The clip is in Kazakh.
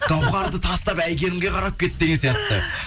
гауһарды тастап әйгерімге қарап кетті деген сияқты